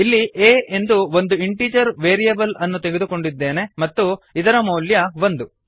ಇಲ್ಲಿ a ಎಂದು ಒಂದು ಇಂಟಿಜರ್ ವೇರಿಯೇಬಲ್ ಅನ್ನು ತೆಗೆದುಕೊಂಡಿದ್ದೇನೆ ಮತ್ತು ಇದರ ಮೌಲ್ಯ ಒಂದು